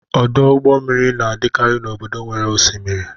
Ọdụ ụgbọ mmiri na-adịkarị n'obodo nwere osimiri.